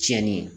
Tiɲɛni